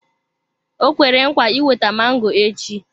O kwere nkwa iweta mango echi.